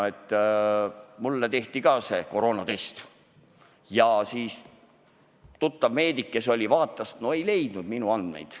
Nimelt, ka mulle tehti koroonatest ja siis tuttav meedik vaatas, aga ei leidnud minu andmeid.